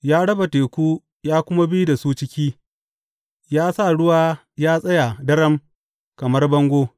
Ya raba teku ya kuma bi da su ciki; ya sa ruwa ya tsaya daram kamar bango.